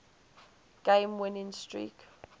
game winning streak